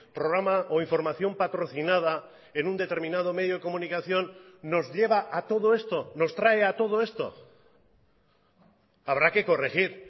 programa o información patrocinada en un determinado medio de comunicación nos lleva a todo esto nos trae a todo esto habrá que corregir